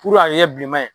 Puruke a bɛ kɛ bilenma ye